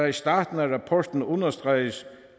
i starten af rapporten understreges